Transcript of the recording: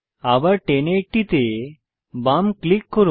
আবার 1080 তে বাম ক্লিক করুন